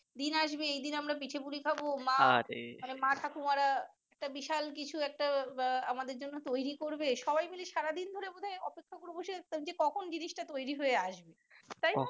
দিন আসবে ওইদিন আমরা পিঠাপুলি খাবো মানে মা ঠাকুরমারা মানি একটা বিশাল কিছু একটা আমাদের জন্য তৈরি করবে সবাই মিলে সারাদিন ধরে বোধহয় অপেক্ষা করে বসে আছি যে কখন জিনিসটা তৈরি হয়ে আসবে তাই